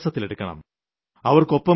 നാം അവരെ വിശ്വാസത്തിലെടുക്കണം